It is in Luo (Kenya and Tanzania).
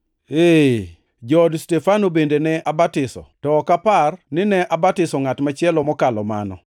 (Ee, jood Stefano bende ne abatiso, to ok apar ni ne abatiso ngʼat machielo mokalo mano.)